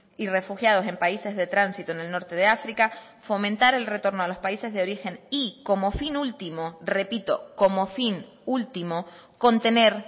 y refugiados en países de tránsito en el norte de áfrica fomentar el retorno a los países de origen y como fin último repito como fin último contener